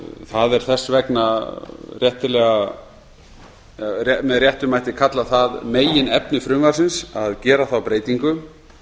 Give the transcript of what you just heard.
það mætti þess vegna með réttum hætti kalla það meginefni frumvarpsins að gera þá breytingu